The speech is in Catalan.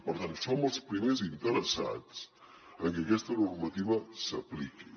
per tant som els primers interessats en que aquesta normativa s’apliqui